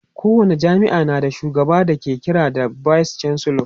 ko wani jami'a na da shugaba da ake kira da vice chancellor